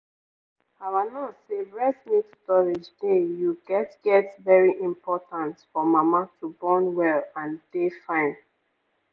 our nurse say breast milk storage dey you get get very important for mama to born well and dey fine.